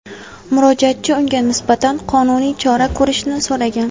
Murojaatchi unga nisbatan qonuniy chora ko‘rishni so‘ragan.